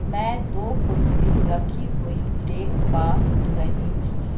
मैं दो कुर्सी रखी हुई देख पा रही हूं।